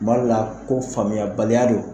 B'al'a faamuyayabaliya de don